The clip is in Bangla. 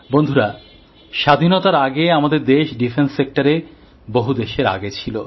বন্ধুরা স্বাধীনতার আগে আমাদের দেশ প্রতিরক্ষা ক্ষেত্রে বহু দেশের আগে ছিল